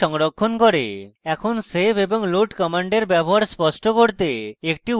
এখন save এবং load commands ব্যবহার স্পষ্ট করতে একটি উদাহরণ দেখি